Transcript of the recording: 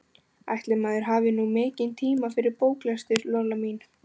Ætli maður hafi nú mikinn tíma fyrir bóklestur, Lolla mín.